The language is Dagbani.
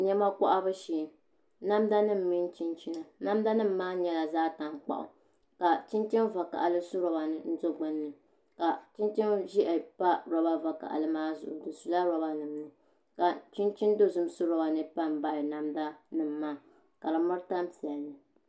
Niɛma kohabu shee namda nim mini chinchina namda nim maa nyɛla zaɣ tankpaɣu ka chinchin vakaɣali su roba ni n do gbunni ka chinchin ʒiɛhi pa roba vakaɣali maa zuɣu di sula roba nim ni ka chinchin dozim su roba ni pa n baɣa namda nim maa ka di miri tani piɛlli